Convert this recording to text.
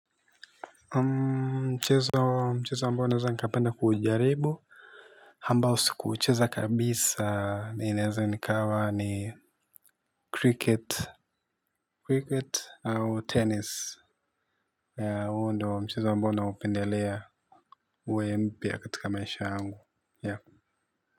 Mchezo mchezo ambao naweza nikapenda kuijaribu. Ambao siku. ucheza kabisa ninaeze ikawa ni cricket. Cricket au tennis. Ya huo ndio mchezo ambao naupendelea. Uwe mpya katika maisha ya.